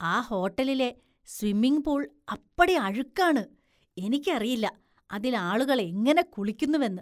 ആ ഹോട്ടലിലെ സ്വിമ്മിങ്പൂള്‍ അപ്പടി അഴുക്കാണ്, എനിക്കറിയില്ല, അതില്‍ ആളുകള്‍ എങ്ങനെ കുളിക്കുന്നുവെന്ന്